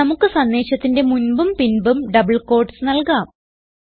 നമുക്ക് സന്ദേശത്തിന്റെ മുൻപും പിൻപും ഡബിൾ ക്യൂട്ടീസ് നൽകാം